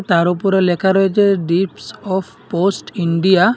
তার ওপরে লেখা রয়েছে ডিপস অফ পোস্ট ইন্ডিয়া ।